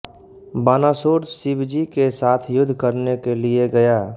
बानासुर शिवजी के साथ युद्ध करने के लिये गया